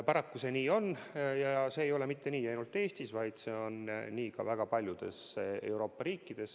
Paraku see nii on ja mitte ainult Eestis, vaid ka väga paljudes muudes Euroopa riikides.